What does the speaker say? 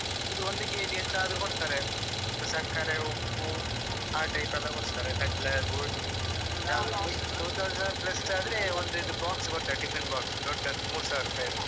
ಇದು ಒಂದು KG ಎಂತಾದ್ರು ಕೊಡುತ್ತಾರೆ ಸಕ್ಕರೆ, ಉಪ್ಪು ಆ type ಎಲ್ಲ ಕೊಡ್ತಾರೆ ಕಡ್ಲೆ, ಗೋಧಿ two thousand plus ಆದ್ರೆ ಒಂದು ಇದು box ಕೊಡ್ತಾರೆ tiffin box ದೊಡ್ಡದು ಮೂರು ಸಾವಿರ ರೂಪಾಯಿಯದ್ದು ಇದು ಕೊಡ್ತಾರೆ.